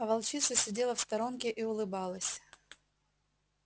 а волчица сидела в сторонке и улыбалась